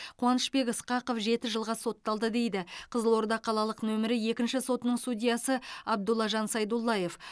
қуанышбек ысқақов жеті жылға сотталды дейді қызылорда қалалық нөмірі екінші сотының судьясы абдуллажан сайдуллаев